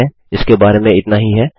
ठीक है इसके बारे में इतना ही है